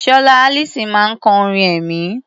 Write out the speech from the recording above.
Sọlá Allyson máa ń kọ orin ẹ̀mí.